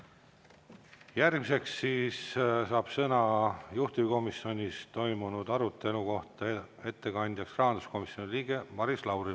Järgmiseks saab sõna juhtivkomisjoni ettekandja, rahanduskomisjoni liige Maris Lauri.